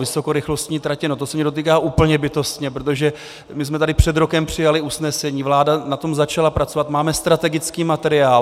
Vysokorychlostní tratě, no to se mě dotýká úplně bytostně, protože my jsme tady před rokem přijali usnesení, vláda na tom začala pracovat, máme strategický materiál.